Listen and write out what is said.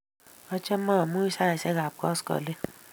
Achame amunyi saisyek ap koskoling'